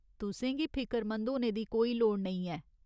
तुसें गी फिकरमंद होने दी कोई लोड़ नेईं ऐ।